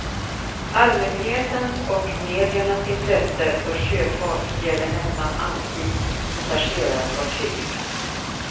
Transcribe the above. Allmänhetens och mediernas intresse för sjöfart gäller nästan alltid passagerarfartyg.